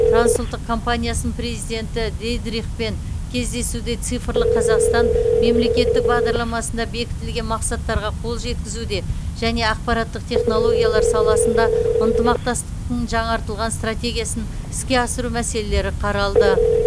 трансұлттық компаниясының президенті дидрихпен кездесуде цифрлық қазақстан мемлекеттік бағдарламасында бекітілген мақсаттарға қол жеткізуде және ақпараттық технологиялар саласында ынтымақтастықтың жаңартылған стратегиясын іске асыру мәселелері қаралды